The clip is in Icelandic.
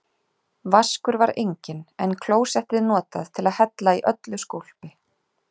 Vaskur var enginn, en klósettið notað til að hella í öllu skólpi.